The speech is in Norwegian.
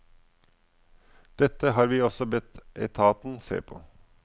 Dette har vi også bedt etaten se på.